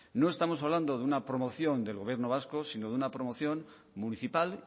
no estamos hablando de una promoción del gobierno vasco sino de una promoción municipal